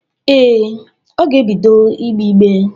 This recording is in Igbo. Ee, ọ ga-ebido ìgbé ígbé?